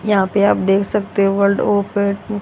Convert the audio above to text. यहां पे आप देख सकते हो वर्ल्ड